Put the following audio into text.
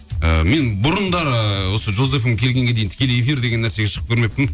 ы мен бұрындары осы жұлдыз фм келгенге дейін тікелей эфир деген нәрсеге шығып көрмеппін